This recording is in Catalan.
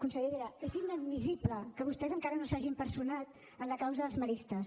consellera és inadmissible que vostès encara no s’hagin personat en la causa dels maristes